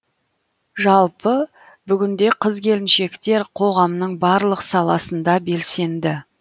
жалпы бүгінде қыз келіншектер қоғамның барлық саласында белсенді